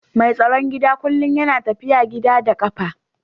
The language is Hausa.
Mai tsaron gida kullum yana tafiya gida da kafa